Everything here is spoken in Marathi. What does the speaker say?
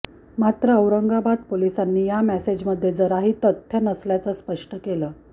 मात्र औरंगाबाद पोलिसांनी या मेसेजमध्ये जराही तथ्य नसल्याचं स्पष्ट केलं